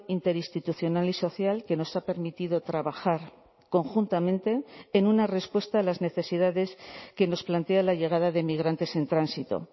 interinstitucional y social que nos ha permitido trabajar conjuntamente en una respuesta a las necesidades que nos plantea la llegada de inmigrantes en tránsito